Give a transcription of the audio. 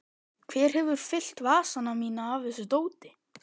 Hver hefur fyllt vasana mína af þessu dóti?